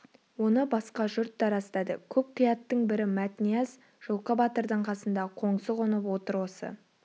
оны басқа жұрт та растады көп қияттың бірі мәтнияз жылқы батырдың қасында қоңсы қонып отыр осы